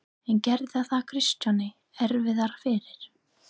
En gerði það Kristjáni erfiðara fyrir?